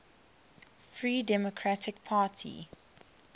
free democratic party